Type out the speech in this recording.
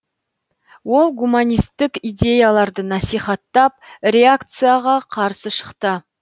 ол гуманистік идеяларды насихаттап реакцияға қарсы шықты